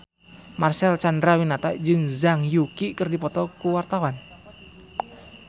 Marcel Chandrawinata jeung Zhang Yuqi keur dipoto ku wartawan